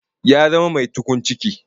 Ya zama mai tukun ciki